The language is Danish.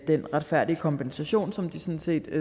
den retfærdige kompensation som de sådan set